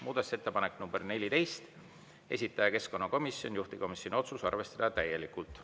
Muudatusettepanek nr 14, esitaja keskkonnakomisjon, juhtivkomisjoni otsus: arvestada täielikult.